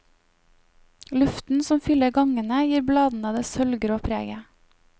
Luften som fyller gangene gir bladene det sølvgrå preget.